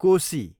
Koshi